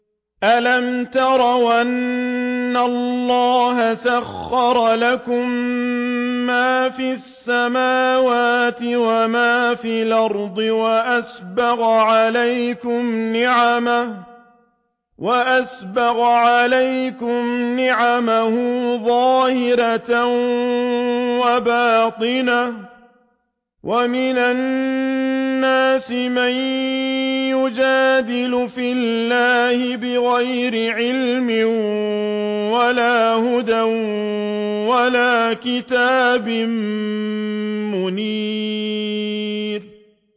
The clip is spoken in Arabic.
أَلَمْ تَرَوْا أَنَّ اللَّهَ سَخَّرَ لَكُم مَّا فِي السَّمَاوَاتِ وَمَا فِي الْأَرْضِ وَأَسْبَغَ عَلَيْكُمْ نِعَمَهُ ظَاهِرَةً وَبَاطِنَةً ۗ وَمِنَ النَّاسِ مَن يُجَادِلُ فِي اللَّهِ بِغَيْرِ عِلْمٍ وَلَا هُدًى وَلَا كِتَابٍ مُّنِيرٍ